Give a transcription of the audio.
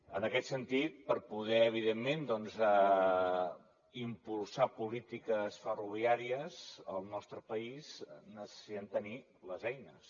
en aquest sentit per poder evidentment doncs impulsar polítiques ferroviàries al nostre país necessitem tenir les eines